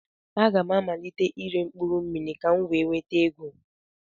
A ga m amalite ire mkpụrụmmiri ka m wee nweta ego.